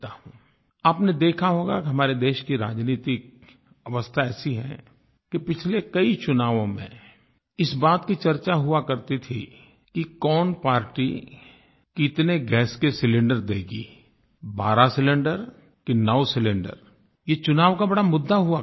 आपने देखा होगा कि हमारे देश की राजनैतिक अवस्था ऐसी है कि पिछले कई चुनावों में इस बात की चर्चा हुआ करती थी कि कौन पार्टी कितने गैस के सिलिंडर देगी 12 सिलिंडर कि 9 सिलिंडर ये चुनाव का बड़ा मुद्दा हुआ करता था